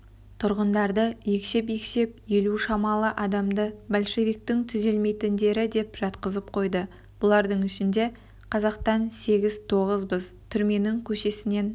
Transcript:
тұтқындарды екшеп-екшеп елу шамалы адамды большевиктің түзелмейтіндері деп жатқызып қойды бұлардың ішінде қазақтан сегіз-тоғызбыз түрменің көшесінен